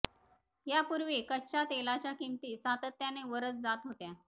यापूर्वी कच्च्या तेलाच्या किमती सातत्यानं वरच जात होत्या